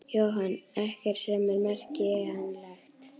Jóhann: Ekkert sem er merkjanlegt?